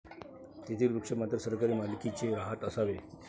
तेथील वृक्ष मात्र सरकारी मालकीचे राहत असावे?